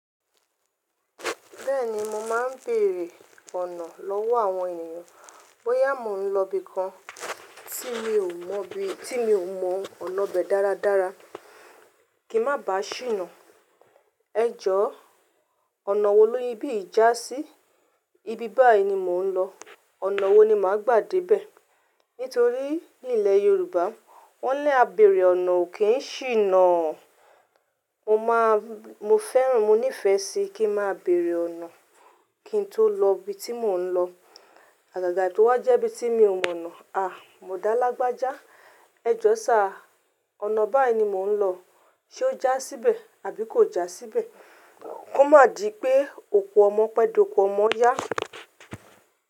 Bẹ́ẹ̀ni mo máa ń bèèrè ọ̀nà lọ́wọ́ àwọn ènìyàn. Bóyá mò ń lọ ibi kan tí mi ò mọ̀ bí, tí mi ò mọ ọ̀nà bẹ̀ dáradára, kí ń má bàá ṣìnà. "Ẹ̀jọ̀ ọ̀nà wo ló ibi ìjà sí? Ibi báyìí ni mò ń lọ. Ọ̀nà wo ni màá gbà dé bẹ̀?" Nítorí ní ilẹ̀ Yorùbá wọ́n ní "A bèèrè ọ̀nà ò kí ń ṣìnà." Mo máa, mo fẹ́ràn, mo nífẹ̀ẹ́ sí kí ń má bèèrè ọ̀nà kí n tó lọ ibi tí mò ń lọ. Àgàgà tí ó wá jẹ́ ibi tí mi ò mọ̀nà, "à! Mò dá lágbájá. Ẹ̀jọ̀ sa, ọ̀nà báyìí ni mò ń lọ." Ṣé ó já síbẹ̀ àbí kò já síbẹ̀? Kó má di pé oko ọmọ pẹ́ dé oko ọmọ yá.